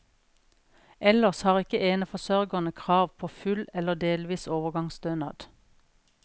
Ellers har ikke eneforsørgerne krav på full eller delvis overgangsstønad.